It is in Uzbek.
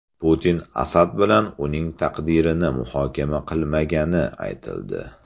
Putin Asad bilan uning taqdirini muhokama qilmagani aytildi.